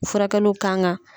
Furakɛliw kan ka.